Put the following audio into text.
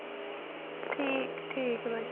ਠੀਕ ਠੀਕ ਬਾਜੀ